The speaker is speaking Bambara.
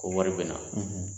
Ko wari bɛ na.